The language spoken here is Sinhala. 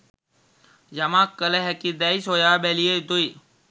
යමක් කළ හැකිදැයි සොයා බැලිය යුතුයි